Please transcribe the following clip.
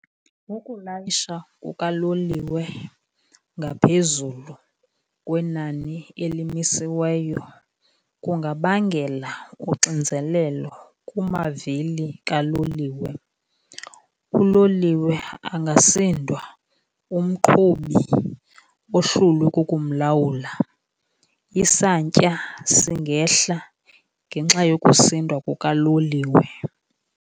Ukulayisha kukaloliwe ngaphezulu kwenani elimisiweyo kungabangela uxinzelelo kumavili kaloliwe. Uloliwe angasindwa, umqhubi ohlulwe kukumlawula, isantya singehla ngenxa yokusindwa kukaloliwe.